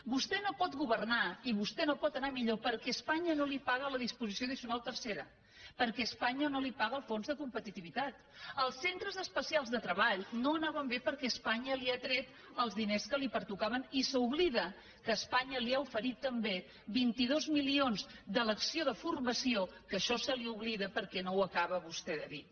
vostè no pot governar i vostè no pot anar millor perquè espanya no li paga la disposició addicional tercera perquè espanya no li paga el fons de competitivitat els centres especials de treball no anaven bé perquè espanya els ha tret els diners que els pertocaven i s’oblida que espanya li ha oferit també vint dos milions de l’acció de formació que això se li oblida perquè no ho acaba vostè de dir